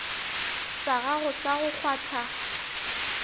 sa gago sa go kgwatha